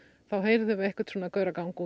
þá heyrðum við einhvern gauragang